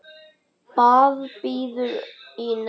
Það bíður í nefnd.